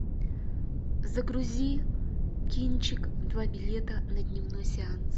загрузи кинчик два билета на дневной сеанс